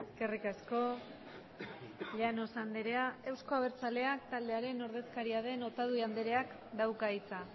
eskerrik asko llanos andrea eusko abertzaleak taldearen ordezkaria den otadui andreak dauka hitza